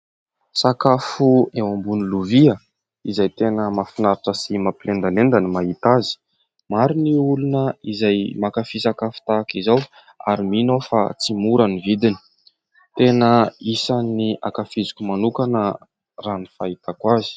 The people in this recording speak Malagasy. Sakafo eo ambony lovia izay tena mahafinaritra sy mampilendalenda ny mahita azy. Maro ny olona izay mankafy sakafo tahaka izao ary mino aho fa tsy mora ny vidiny. Tena isany ankafiziko manokana raha ny fahitako azy.